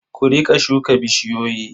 Ku riƙa shuka bishiyoyi.